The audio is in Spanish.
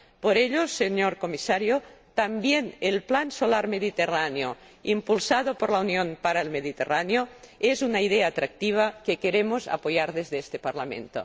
Por ello, señor Comisario, también el Plan Solar Mediterráneo, impulsado por la Unión para el Mediterráneo, es una idea atractiva que queremos apoyar desde este Parlamento.